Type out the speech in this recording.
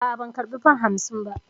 A'a, ban karba fam hamsin ba.